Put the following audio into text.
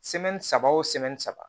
saba